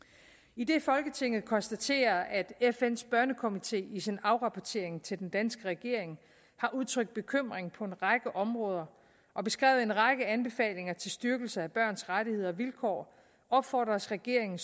idet folketinget konstaterer at fns børnekomité i sin afrapportering til den danske regering har udtrykt bekymring på en række områder og beskrevet en række anbefalinger til styrkelse af børns rettigheder og vilkår opfordres regeringen